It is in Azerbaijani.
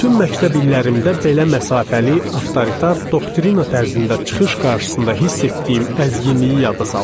Bütün məktəb illərimdə belə məsafəli, avtoritar, doktrina tərzində çıxış qarşısında hiss etdiyim əzginliyi yada saldım.